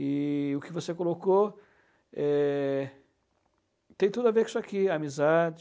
E o que você colocou, eh, tem tudo a ver com isso aqui, amizade,